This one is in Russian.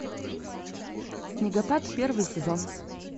снегопад первый сезон